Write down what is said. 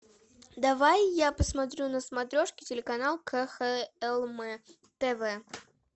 давай я посмотрю на смотрешке телеканал кхлм тв